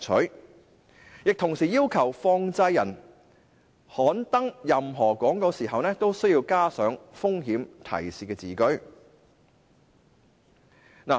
新規定亦同時要求放債人刊登任何廣告時都需要加上"風險提示"的字句。